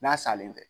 N'a salen tɛ